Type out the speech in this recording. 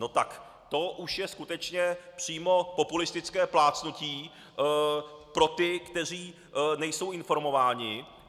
No tak to už je skutečně přímo populistické plácnutí pro ty, kteří nejsou informováni.